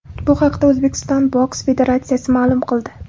Bu haqda O‘zbekiston boks federatsiyasi ma’lum qildi.